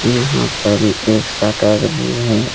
यहां पर एक शटर भी है।